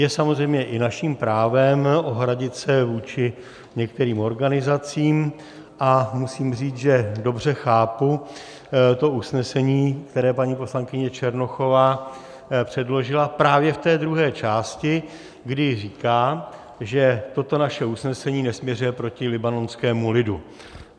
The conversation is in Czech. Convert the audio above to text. Je samozřejmě i naším právem ohradit se vůči některým organizacím a musím říct, že dobře chápu to usnesení, které paní poslankyně Černochová předložila, právě v té druhé části, kdy říká, že toto naše usnesení nesměřuje proti libanonskému lidu.